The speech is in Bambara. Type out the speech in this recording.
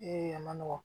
Ee a ma nɔgɔn